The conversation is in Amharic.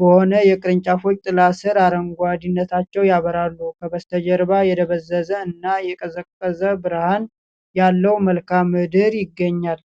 በሆነ የቅርንጫፎች ጥላ ስር አረንጓዴነታቸውን ያበራሉ። ከበስተጀርባ የደበዘዘ እና የቀዘቀዘ ብርሃን ያለው መልክአ ምድር ይገኛል።